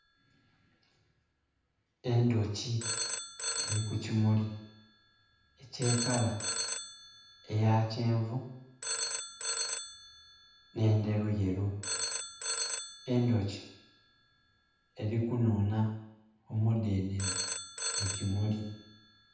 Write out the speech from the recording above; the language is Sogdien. Endhoki eri ku kimuli ekye kala eya kyenvu ne ndheruyeru. Endhoki eri kunuuna omudenene mu kimuli.